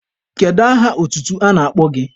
Kedu aha otutu a na-akpọ gị?